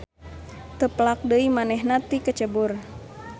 Teu pelak deui manehna tikecebur.